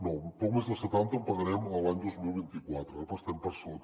no poc més de setanta en pagarem l’any dos mil vint quatre però ara estem per sota